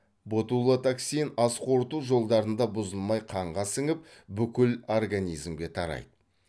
ботулотоксин ас қорыту жолдарында бұзылмай қанға сіңіп бүкіл организмге тарайды